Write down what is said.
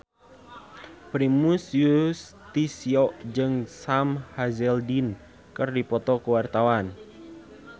Primus Yustisio jeung Sam Hazeldine keur dipoto ku wartawan